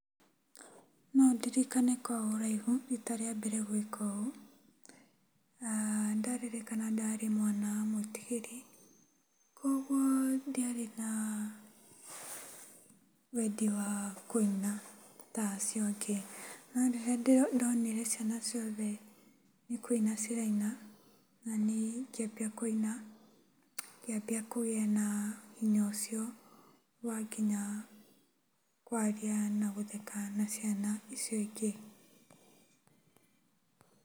Nondirikane kwa ũraihu rita rĩambere gwĩka ũũ. Na ndaririkana ndarĩ mwana mwĩtigĩri kwoguo ndiarĩ na wendi wa kũina tacio angĩ. Norĩrĩa ndonire ciana ciothe nĩkũina ciraina, nani ngĩambia kũina, ngĩambia kũgia na hinya ũcio wanginya kwaria na gũtheka na ciana icio ingĩ.